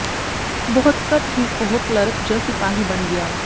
ਬਹੁਤ ਘੱਟ ਹੀ ਉਹ ਕਲਰਕ ਜ ਸਿਪਾਹੀ ਬਣ ਗਿਆ